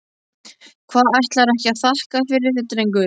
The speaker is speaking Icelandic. Hvað, ætlarðu ekki að þakka fyrir þig drengur?